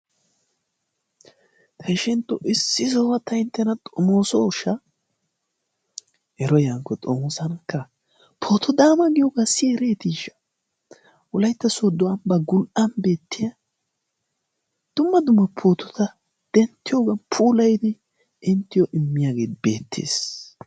Ta ishentto issi sohuwan ta inttena xomoosooshsha, ero yaakko xomoosanakkaa! Pooto daana giyogaa siyi ereetiishsha? Wolaytta sooddo ambbaa gul"an beettiya dumma dumma pootota denttiyogan puulayidi immiyagee beettees.